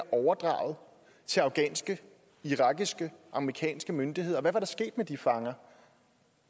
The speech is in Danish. overdraget til afghanske irakiske og amerikanske myndigheder og hvad der var sket med de fanger